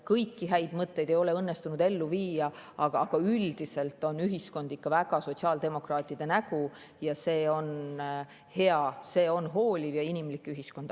Kõiki häid mõtteid ei ole õnnestunud ellu viia, aga üldiselt on ühiskond ikka väga sotsiaaldemokraatide nägu, see on hea, hooliv ja inimlik ühiskond.